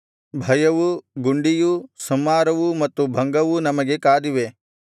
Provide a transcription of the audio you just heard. ಭಯವೂ ಗುಂಡಿಯೂ ಸಂಹಾರವೂ ಮತ್ತು ಭಂಗವೂ ನಮಗೆ ಕಾದಿವೆ